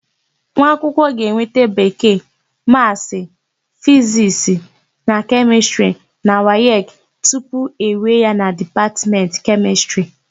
Nwaakwụkwọ ga-enweta Bekee, Maasị, Fizisti na Kemịstịrị na wayeki tupu ewee ya na Dipatmentị Kemịstịrị.